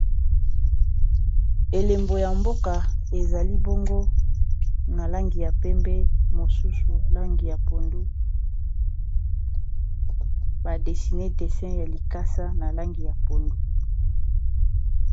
Elembo ya mboka ezali bongo na langi ya pembe mosusu langi ya pondu ba desine desin ya likasa na langi ya pondu.